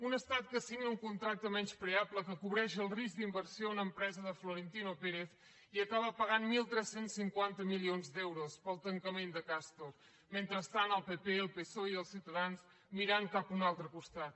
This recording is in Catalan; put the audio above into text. un estat que signa un contracte menyspreable que cobreix el risc d’inversió a una empresa de florentino pérez i acaba pagant tretze cinquanta milions d’euros pel tancament de castor mentrestant el pp el psoe i ciutadans mirant cap a un altre costat